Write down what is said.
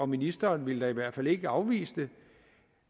ministeren i hvert fald ikke ville afvise